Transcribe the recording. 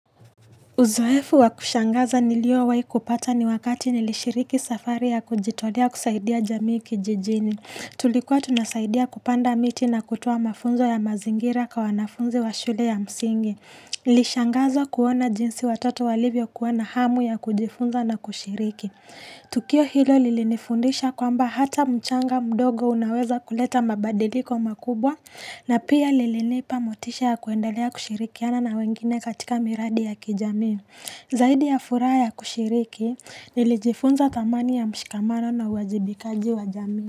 Uzoefu wa kushangaza niliowahi kupata ni wakati nilishiriki safari ya kujitolea kusaidia jamii kijijini. Tulikuwa tunasaidia kupanda miti na kutoa mafunzo ya mazingira kwa wanafunzi wa shule ya msingi. Nilishangazwa kuona jinsi watoto walivyokuwa na hamu ya kujifunza na kushiriki. Tukio hilo lilinifundisha kwamba hata mchanga mdogo unaweza kuleta mabadiliko makubwa na pia lilinipa motisha ya kuendelea kushirikiana na wengine katika miradi ya kijamii. Zaidi ya furaha ya kushiriki nilijifunza thamani ya mshikamano na uwajibikaji wa jamii.